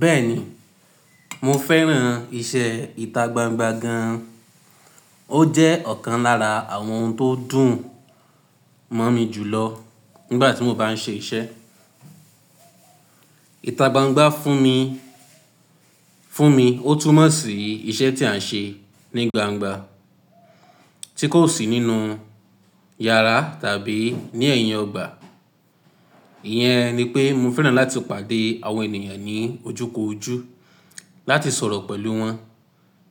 Bẹ́ẹ̀ni, mo fẹ́ràn iṣẹ́ ìta gbangba gan-an. Ó jẹ́ ọ̀kan lára àwọn ohun tó dùn mọ́ mi jù lọ nígbà tí mo bá ń ṣe iṣẹ́. Ìta gbangba fún mi, fún mi, ó túmọ̀ sí iṣẹ́ tí à ń ṣe ní gbangba tí kò sí nínú yàrá tàbí ní ẹ̀yìn ọgbà. Iyẹn ni pé mo fẹ́ràn láti pàdé àwọn ènìyàn ní ojúkoojú, láti sọ̀rọ̀ pẹ̀lú wọn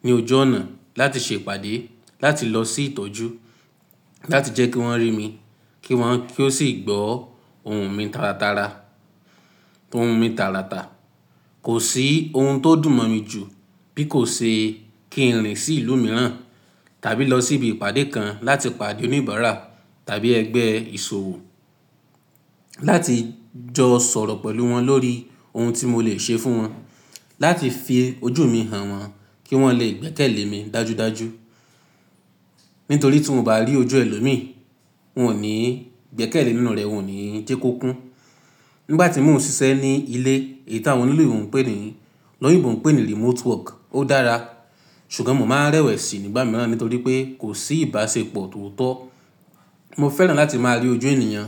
ní ojú ọ̀nà, láti ṣe ìpàdé, láti lọ sí ìtọ́jú, láti jẹ́ kí wọ́n rí mi kí wọ́n, kí ó sì gbọ́ ohùn mi taratara ohùn mi tààràtà. Kò sí ohun tó dùn mọ̀ mi jù bí kò ṣe kí n rìn sí ìlú mìíràn tàbí lọ sí ibi ìpàdé kan láti pàdé oníbàárà tàbí ẹgbẹ́ ìṣòwò láti jọ sọ̀rọ̀ pẹ̀lú wọn lórí ohun tí mo le ṣe fún wọn, láti fi ojú mi hàn wọ́n kí wọ́n lè gbẹ́kẹ̀lé mi dájúdájú. Nítorí tí mo bá rí ojú ẹlòmíì, wọn ò ní gbẹ́kẹ̀lé nínú rẹ̀, wọn ò ní jẹ́ kó kún. Nígbà tí mò ń ṣiṣẹ́ ní ilé èyí tí àwọn olóyìnbó ń pè ní, lọ́yìnbó ń pè ní remote work, ó dára. Ṣùgbọ́n mo máa ń rẹ́wẹ̀sì nígbà mìíràn nítorí pé kò sí ìbáṣepọ̀ tòótọ́. Mo fẹ́ràn láti máa rí ojú ènìyàn,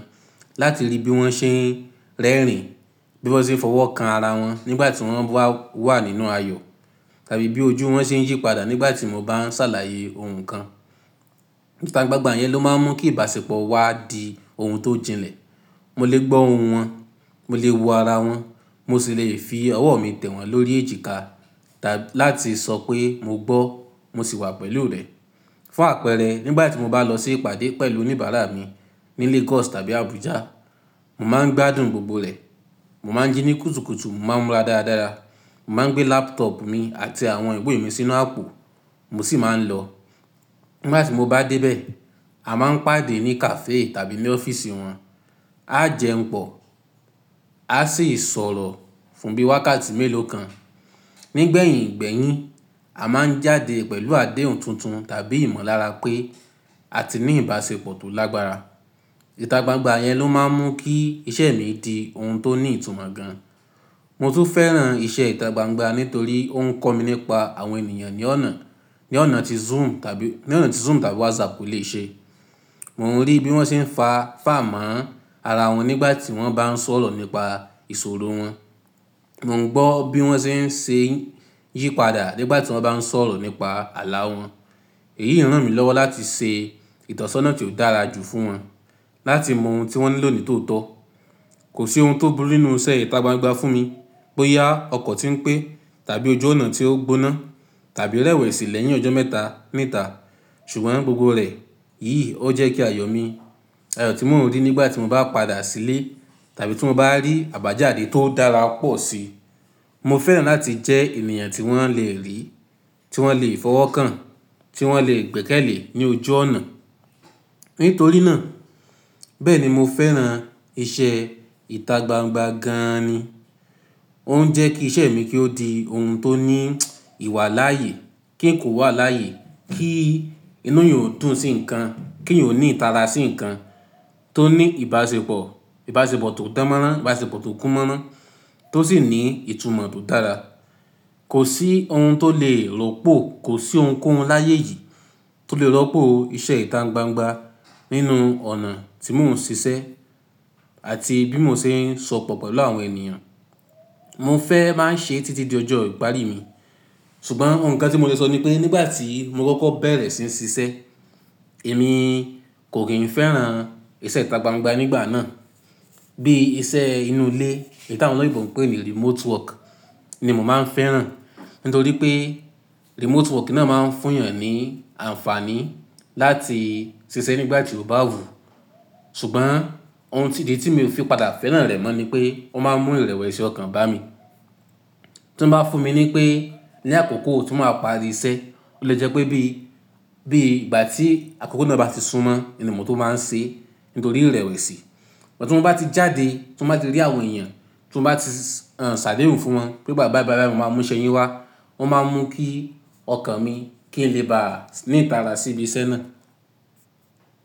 láti rí bí wọ́n ṣe ń rẹ́rìn-ín, bí wọ́n ṣe ń fọwọ́kan ara wọn nígbà tí wọ́n wà nínú ayọ̀ tàbí bí ojú wọn ṣe ń yípadà nígbà tí mo bá ń ṣàlàyé ohun kan. Ìta gbangba yẹn ló máa ń mú kí ìbáṣepọ̀ wa di ohun tó jinlẹ̀. Mo lè gbọ́ ohùn wọn, mo lè wo ara wọn, mo sì lè fi ọwọ́ mi tẹ̀ wọn lórí èjìká tàbí láti sọ pé mo gbọ́, mo sì wà pẹ̀lú rẹ. Fún àpẹẹrẹ, nígbà tí mo bá lọ sí ìpàdé pẹ̀lú oníbàárà mi ní Lagos tàbí Abuja, mo máa ń gbádùn gbogbo rẹ̀. Mo máa ń jí ní kùtùkùtù, mo máa ń múra dáradára, mo máa ń gbé laptop mi àti àwọn ìwé mi sínú àpò mo sì máa ń lọ. Nígbà tí mo bá débẹ̀, a máa ń pàdé ní cafe tàbí ní ọ́fíìsì wọn. Á jẹun pọ̀, áá sì sọ̀rọ̀ fún bí wákàtí mélòó kan. Nígbẹ̀yìn gbẹ́yín, a máa ń jáde pẹ̀lú àdéhùn tuntun tàbí ìmọ̀lára pé a ti ní ìbáṣepọ̀ tó lágbára. Ìta gbangba yẹn ló máa ń mú kí iṣẹ́ mi di ohun tó ní ìtumọ̀ gan-an Mo tún fẹ́ràn iṣẹ́ ìta gbangba nítorí ó ń kọ́ mi nípa àwọn ènìyàn ní ọ̀nà, ní ọ̀nà tí Zoom tàbí, ní ọ̀nà tí Zoom tàbí WhatsApp kò lè ṣe. Mò ń rí bí wọ́n ṣe ń fa, fà mọ́ ara wọn nígbà tí wọ́n bá ń sọ̀rọ̀ nípa ìṣòro wọn. Mo ń gbọ́ bí wọ́n ṣe ń ṣe yípadà nígbà tí wọ́n bá ń sọ̀rọ̀ nípa àlá wọn. Èyí ràn mí lọ́wọ́ láti ṣe ìtọ́sọ́nà tí ó dára jù fún wọn, láti mọ ohun tí wọ́n nílò nítòótọ́. Kò sí ohun tó burú nínú iṣẹ́ ìta gbangba fún mi bóyá ọkọ̀ tí ń pé tàbí ojú ọ̀nà tí ó gbóná tàbí rẹ́wẹ̀sì lẹ́yìn ọjọ́ mẹ́ta níta. Ṣùgbọ́n gbogbo rẹ̀ yìí ó jẹ́ kí ayọ̀ mi, ayọ̀ tí mò ń rí nígbà tí mo bá padà sílé tàbí tí mo bá rí àbájáde tó dára pọ̀ síi. Mo fẹ́ràn láti jẹ́ ènìyàn tí wọ́n lè rí, tí wọ́n lè fọwọ́kàn, tí wọ́n lè gbẹ́kẹ̀lé ní ojú ọ̀nà. Nítorí náà, bẹ́ẹ̀ ni mo fẹ́ràn iṣẹ́ ìta gbangba gan-an ni. Ó ń jẹ́ kí iṣẹ́ mi kí ó di ohun tó ní ìwàláàyè, kí nǹkan ó wà láàyè, kí inú èèyàn ó dùn sí nǹkan, kí èèyàn ó ní ìtara sí nǹkan, tó ní ìbáṣepọ̀, ìbáṣepọ̀ tó dán mọ́rán, ìbáṣepọ̀ tó kún mọ́rán tó sì ní ìtumọ̀ tó dára. Kò sí ohun tó lè rọ́pò, kò sí ohunkóhun láyé yìí tó lè rọ́pò iṣẹ́ ìta gbangba nínú ọ̀nà tí mò ń ṣiṣẹ́ àti bí mo ṣe ń sopọ̀ pẹ̀lú àwọn ènìyàn. Mo fẹ́ máa ń ṣe é títí di ọjọ́ ìparí mi. Ṣùgbọ́n nǹkan tí mo lè sọ ni pé nígbà tí mo kọ́kọ́ bẹ̀rẹ̀ síi ṣiṣẹ́, èmi kò kì ń fẹ́ràn iṣẹ́ ìta gbangba nígbà náà. Bí iṣẹ́ inú ilé èyí tí àwọn olóyìnbó ń pè ní remote work ni mo máa ń fẹ́ràn nítorí pé remote work náà máa ń fún èèyàn ní àǹfààní láti ṣiṣẹ́ nígbà tí ó bá wù ú ṣùgbọ́n ohun ti ìdí tí mi ò fi padà fẹ́ràn rẹ̀ mọ́ ni pé ó máa ń mú ìrẹ̀wẹ̀sì ọkàn bá mi tí wọ́n bá fún mi ní pé ní àkókò tí màá parí iṣẹ́, ó lè jẹ́ pé bí, bí ìgbà tí àkókò náà bá ti súnmọ́, ẹni mo tó máa ń ṣe é nítorí ìrẹ̀wẹ̀sì. Tí mo bá ti jáde, tí mo bá ti rí àwọn èèyàn, tí mo bá ti ṣàdéhùn fún wọn pé ìgbà, báì báì báì mo máa mú iṣẹ́ yín wá, ó máa ń mú kí ọkàn mi kí n lè bà a ní ìtara sí ibi iṣẹ́ náà.